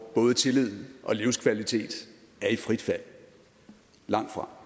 både tillid og livskvalitet er i frit fald langtfra